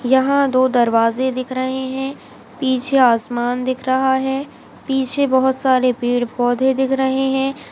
यहा दो दरवाजे दिख रहे है पीछे आसमान दिख रहा है पीछे बहुत सारे पेड़-पौधे दिख रहे है।